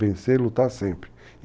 Vencer e lutar sempre.